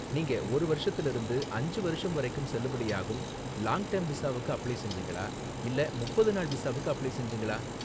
நீங்க ஒரு வருஷத்துல இருந்து அஞ்சு வருஷம் வரைக்கும் செல்லுபடியாகும் லாங் டெர்ம் விசாவுக்கு அப்ளை செஞ்சீங்களா இல்லனா முப்பது நாள் விசாவுக்கு அப்ளை செஞ்சீங்களா?